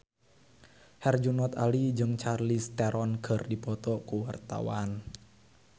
Herjunot Ali jeung Charlize Theron keur dipoto ku wartawan